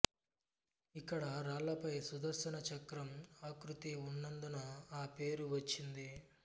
ఇక్కడి రాళ్ళపై సుదర్శన చక్రం ఆకృతి ఉన్నందున ఆ పేరు వచ్చింది